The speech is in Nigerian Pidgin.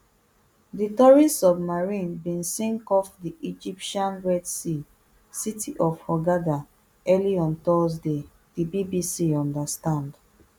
di tourist submarine bin sink off di egyptian red sea city of hurghada early on thursday di bbc understand